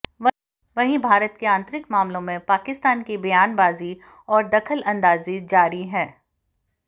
वहीं भारत के आंतरिक मामलों में पाकिस्तान की बयानबाजी और दखलअंदाजी जारी है